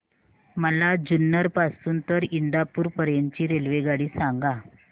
मला जुन्नर पासून तर इंदापूर पर्यंत ची रेल्वेगाडी सांगा